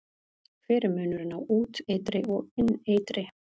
Hver er munurinn á úteitri og inneitri?